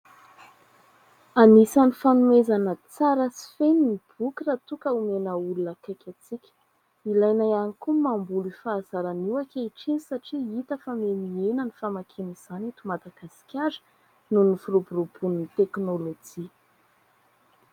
Anisan'ny fanomezana tsara sy feno ny boky raha toa ka omena olona akaiky antsika. Ilaina ihany koa ny mamboly io fahazarana io ankehitriny satria hita fa mihahena ny famakiana izany eto Madagasikara noho ny firoboroboan'ny teknolojia.